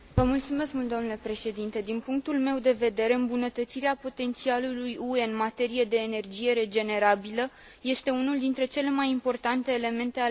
Din punctul meu de vedere, îmbunătățirea potențialului UE în materie de energie regenerabilă este unul dintre cele mai importante elemente ale raportului.